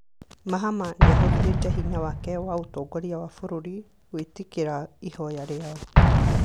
Mahama nĩahũthĩrĩte hinya wake wa mũtongoria wa bũrũri gwĩtĩkĩra ihoya rĩao